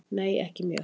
Nei ekki mjög.